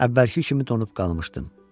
Əvvəlki kimi donub qalmışdım.